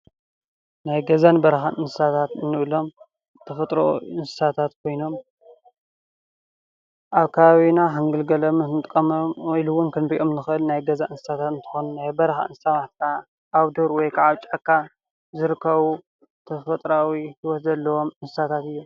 ናይ ገዛን በረኻን እንስሳት ንብሎም ብተፈጥሮ እንስሳ ኮይኖም አብ ከባቢና እንጥቀመሎም እንግልገለሎም ኢሉ ዉን ክንሪኦም ንክእል ናይ ገዛ እንስሳ እንትኾኑ ናይ በረኻ እንስሳ አብ ዱር ወይ ጫካ ዝርከቡ ተፈጥሮአዊ ሂይወት ዘለዎም እንስሳት እዮም ።